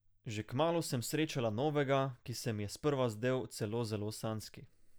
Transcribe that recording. Že kmalu sem srečala novega, ki se mi je sprva zdel celo zelo sanjski.